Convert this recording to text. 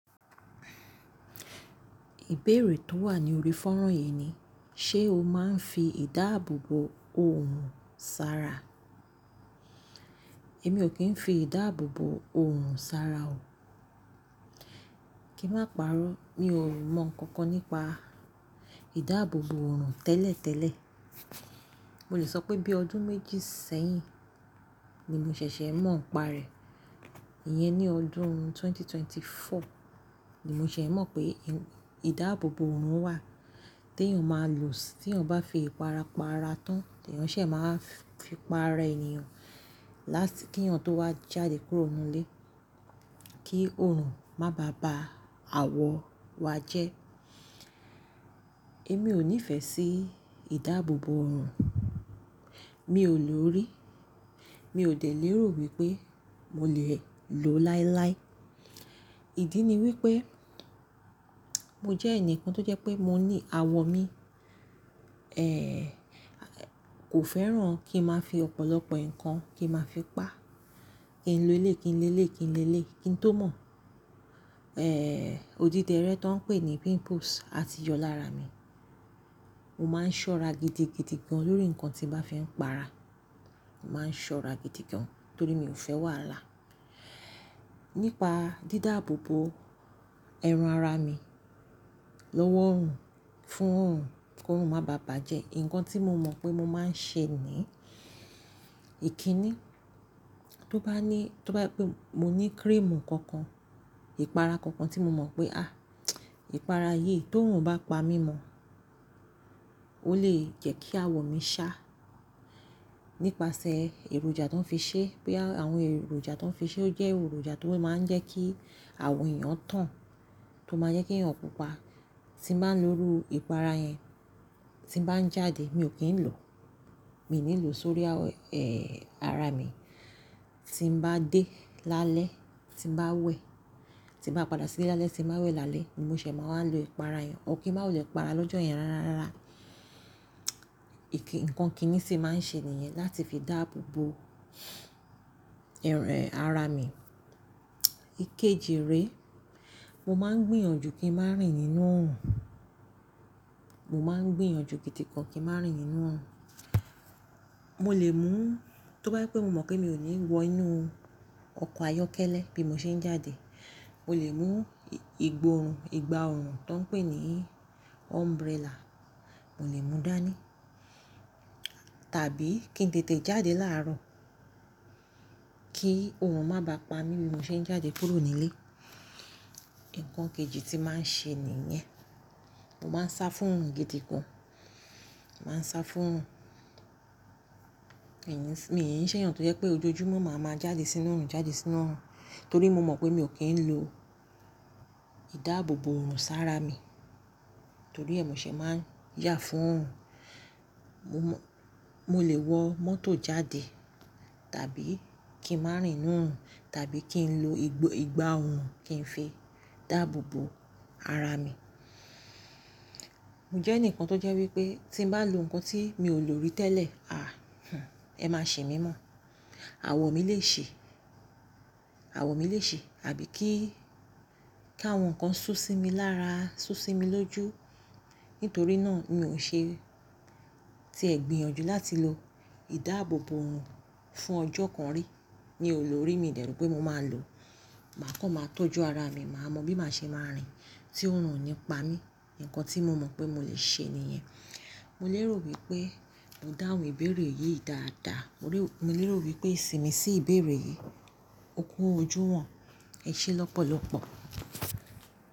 Ìbéèrè tó wà ní orí fọ́nrán yìí ni, ṣe o máa ń fi ìdáàbòbò òòrùn sára? Èmi ò kí ń fi ìdáàbòbò òòrùn sára o. Kí n máa parọ́, mi ò mọ nǹkan kan nípa ìdáàbòbò òòrùn tẹ́lẹ̀tẹ́lẹ̀. Mo lè sọ pé bí ọdún méjì sẹ́yìn ni mo ṣẹ̀ṣẹ̀ mọ̀ ń pa rẹ̀. Yẹn ni ọdún 2024 ni mo ṣẹ̀ mọ̀ pé ìdáàbòbò òòrùn wà tí èèyàn máa lò sí tí èèyàn bá fi ìpara para tán, tí èèyàn ṣẹ̀ máa fi pa ara èèyàn láti kí èèyàn tó wá jáde kúrò nínú ilé, kí òòrùn má bàá ba àwọ̀ wa jẹ́. Èmi ò nífẹ̀ẹ́ sí ìdáàbòbò òòrùn, mi ò lò ó rí. Mi ò tẹ̀ léèrò wípé mo lè lò ó láíláí. Ìdí ni wípé mo jẹ́ ẹnìkan tó jẹ́ pé mo ní àwọ̀ mi, ko feran ki n maa fi opolopo kan ki n maa fi pa. Kí n lo ilé, kí n lé lé yi, kí n lé lé yi, kí n tó mọ̀. Òdídẹrẹ́ tó ń pè ní pimples a ti yọ lára mi. Mo máa ń ṣọ́ra gidi gidi gan lọ́rí nǹkan tí bá fi ń para. Mo máa ń ṣọ́ra gidi gan torí mi ò fẹ́ wàa láa. Nípa dídáàbòbò ẹran ara mi lọ́wọ́ òòrùn fún òòrùn kí òòrùn má bàá bàjẹ́, nǹkan tí mo mọ̀ pé mo máa ń ṣe ní ìkíní. Tó bá ní, tó bá pé mo ní cream kan kan, ìpara kan kan tí mo mọ̀ pé àh, ìpara yìí tí òòrùn bá pa mí mọ́, ó lè jẹ́ kí àwọ̀ mi sá nípasẹ̀ èròjà tó ń fi ṣe. Bí àwọn èròjà tó ń fi ṣe ó jẹ́ èròjà tó máa ń jẹ́ kí àwọ̀ èèyàn tán, tó máa jẹ́ kí èèyàn pupa. Tí n bá ń lo irú ìpara yẹn tí bá ń jáde, mi ò kí ń lò. Mi ò ní lò sórí ẹ ara mi. Tí n bá dé lálẹ́, tí n bá wẹ̀, tí n bá padà sílé lálẹ́, tí n bá wẹ̀ lálẹ́, ni mo ṣẹ̀ máa ń lo ìpara yẹn. Or kí n máa wulẹ́ para lọ́jọ́ yẹn rárárá. Ìkí-nǹkan kíní tì máa ń ṣe nìyẹn láti fi dáàbòbò ẹ ara mi. Ikeji rèé, mo máa ń gbìyànjú kí n má rìn nínú òòrùn. Mo maa n gbìyànjú gidi gan ki n ma rin ninu oorun. Mo lè mú, tó bá jẹpé mo mọ̀ pé mi ò ní wọ inú ọkọ̀ ayọ́kẹ́lẹ́ bí mo ṣe ń jáde, mo lè mú ìgbòòrùn, ìgbá òòrùn tó ń pè ní umbrella, mo lè mú dáa ní tàbí kí n tètè jáde láàárọ̀ kí òòrùn má bàá pa mí bí mo ṣe ń jáde kúrò nílé. Nǹkan kejì tí màá ń ṣe nìyẹn. Mo máa ń sá fún òòrùn gidi gan. Mo máa ń sá fún òòrùn. Mii n ṣẹ̀yàn tó jẹ́ pé ojoojúmọ́ màá máa jáde sínú òòrùn, jáde sínú òòrùn torí mo mọ̀ pé mi ò kí ń lo ìdáàbòbò òòrùn sára mi torí ẹ mo ṣẹ̀ máa ń yà fún òòrùn. Mo le wọ mọto jade, tabi ki n maa rin n nu orun, tabi ki n lo igba oorun ki n fi daabo bo ara mi mo jẹ́ ẹnìkan tó jẹ́ wípé tí n bá lo nǹkan tí mi ò lò rí tẹ́lẹ̀, àh hùn, ẹ má ṣi mí mọ̀. Àwọ̀ mi lè ṣi, àwọ̀ mi lè ṣi àbí kí, kí àwọn nǹkan sú sí mi lára, sú sí mi lójú. Nitori naa mi o ṣe ti ẹ gbìyànjú lati lo idaabobo orun fun ọjọ kan ri mi o lori, mi dẹ ro pe mo maa lo. Màá kọ́ máa tọ́jú ara mi, màá mọ̀ bí màá ṣe máa rìn tí òòrùn ò ní pa mí. Nǹkan tí mo mọ̀ pé mo lè ṣe nìyẹn. Mo lérò wípé mo dáhùn ìbéèrè yìí dáadaa. Mo lérò wípé ìsìnmi sí ìbéèrè yìí. Ó kú ọju wọ̀n. Ẹ ṣé lọ́pọ̀lọ́pọ̀.